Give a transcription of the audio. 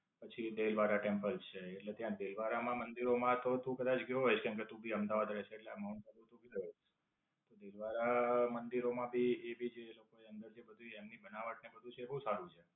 પછી દેલવારા ટેમ્પલ છે. એટલે ત્યાં દેલવારા માં મંદિરો માં તો તું કદાચ ગયો કેમકે તું ભી અમદાવાદ રહે છે એટલે માઉન્ટ આબુ તું ભી ગયો હશે. દેલવારા મંદિરો માં ભી એ ભી જે એ લોકો એ અંદર થી બધી બનાવટ ને બધું છે તે બોવ સારું છે.